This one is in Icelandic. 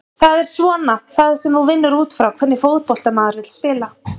Það er svona það sem þú vinnur útfrá, hvernig fótbolta maður vill spila?